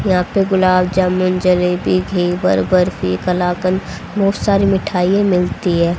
यहां पे गुलाबजामुन जलेबी घेवर बर्फी कलाकंद बहोत सारी मिठाइयां मिलती है।